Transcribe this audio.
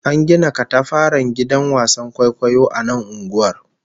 An gina katafaren gidan wasan kwaikwayo a nan unguwar